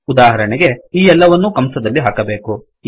ಉದಾಹರಣೆಗೆ ಈ ಎಲ್ಲವನ್ನೂ ಕಂಸದಲ್ಲಿ ಹಾಕಬೇಕು